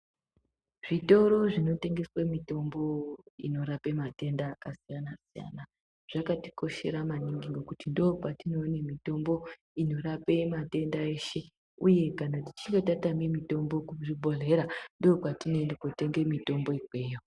Zvitoro zvinotengeswe mitombo inorape matenda akasiyana-siyana, zvakatikoshera maningi ngekuti ndopatinowane mitombo inorape matenda eshe uye kana tichinge tatame mitombo kuzvibhodhlera, ndokwatinoende kotenge mitombo ikweyo.